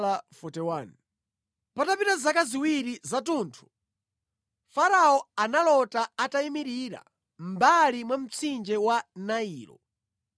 Patapita zaka ziwiri zathunthu, Farao analota atayimirira mʼmbali mwa mtsinje wa Nailo,